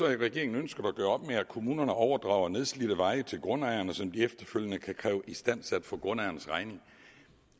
regeringen ønsket at gøre op med at kommunen overdrager nedslidte veje til grundejerne som kommunen efterfølgende kan kræve istandsat på grundejernes regning